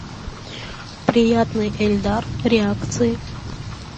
приятный ильдар реакции